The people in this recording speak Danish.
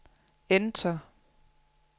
enter